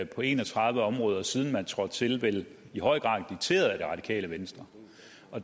på en og tredive områder siden man trådte til vel i høj grad dikteret af det radikale venstre